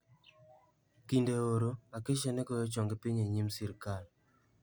Kinde oro, "Acacia ne goyo chonge piny e nyim sirkal".